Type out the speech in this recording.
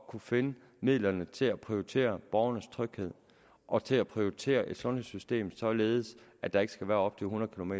kunne finde midlerne til at prioritere borgernes tryghed og til at prioritere et sundhedssystem således at der ikke skal være op til hundrede km